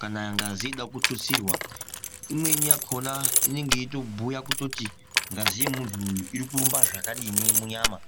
kana ngazi ichida kututsirwa imweni yakhona inenge iri kubhuya kuti ngazi yemuntu uyu iri kurumba zvakadini munyama.